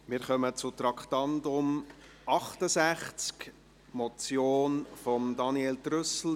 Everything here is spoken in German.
Wir kommen zum Traktandum 68, die Motion von Daniel Trüssel: